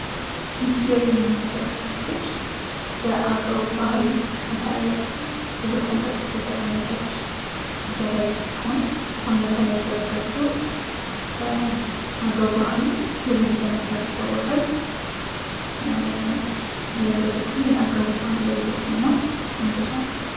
ምስሉ ላይ የምንመለከታት ልጅ በአገው ባህል ማህበረሰብ መሰረት ውበቷን ጠብቃ የተቀመጠች ልጃገረድ ስትሆን በአንገቷ ላይ ያደረገችው በአገው ባህል ድር በመባል ይታወቃል። የለበሰችውም የአገው ባህል ልብስና ቆንጆ ሴትም ናት።